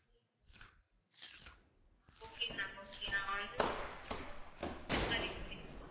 okay ma'am okay நான் வந்து அஹ் send பண்ணி விடுறேன்